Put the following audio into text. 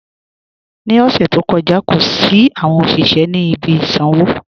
Ní ọṣẹ̀ tó kọja, kò sí awọn ọṣiṣẹ̀ ni ibi ìsànwo